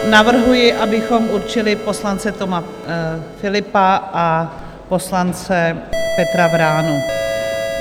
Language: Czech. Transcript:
Navrhuji, abychom určili poslance Toma Philippa a poslance Petra Vránu.